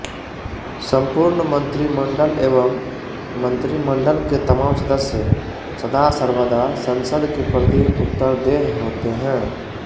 संपूर्ण मंत्रिमंडल एवं मंत्रिमंडल के तमाम सदस्य सदा सर्वदा संसद के प्रति उत्तरदेह होते हैं